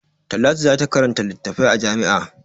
Talatu za ta karanta littafi a jami'a.